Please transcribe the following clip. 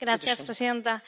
Señora presidenta,